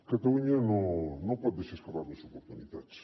catalunya no pot deixar escapar més oportunitats